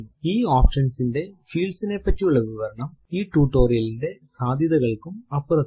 ഈ ഓപ്ഷൻ ന്റെ fields നെ പറ്റിയുള്ള വിവരണം ഈ ടുടോരിയലിന്റെ സാദ്ധ്യതകൾക്കും അപ്പുറത്താണ്